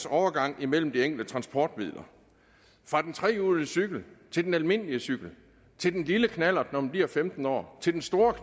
overgangen mellem de enkelte transportmidler fra den trehjulede cykel til den almindelige cykel til den lille knallert når de bliver femten år til den store